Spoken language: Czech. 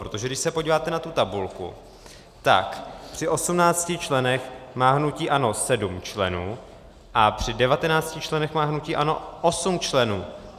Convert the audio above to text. Protože když se podíváte na tu tabulku, tak při 18 členech má hnutí ANO 7 členů a při 19 členech má hnutí ANO 8 členů.